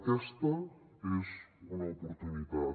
aquesta és una oportunitat